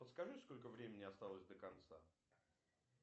подскажи сколько времени осталось до конца